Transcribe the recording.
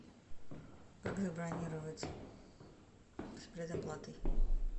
как забронировать с предоплатой